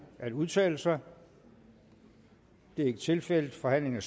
at udtale sig det er ikke tilfældet forhandlingen